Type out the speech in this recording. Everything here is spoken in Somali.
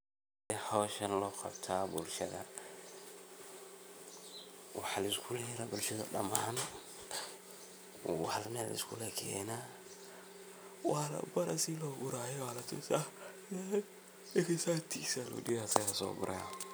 Side howshaan logabta bulshada, waxa liskuyera bulshada daman, mel aya liskulakena, walabari sii logurayo, walatusah, kadib ninkasta tiis lageyna asaga soguraya.